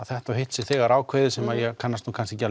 þetta og hitt sé þegar ákveðið sem ég kannst nú kannski ekki